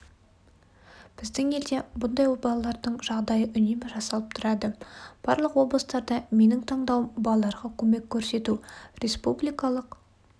біздің елде бұндай балалардың жағдайы үнемі жасалып тұрады барлық облыстарда менің таңдауым балаларға көмек көрсету республикалық